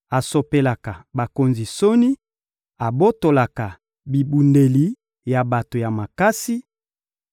asopelaka bakonzi soni, abotolaka bibundeli ya bato ya makasi;